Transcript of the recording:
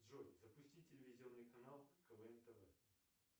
джой запусти телевизионный канал квн тв